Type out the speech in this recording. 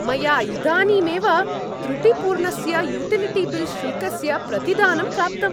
मया इदानीमेव त्रुटिपूर्णस्य युटिलिटी बिल् शुल्कस्य प्रतिदानं प्राप्तम्।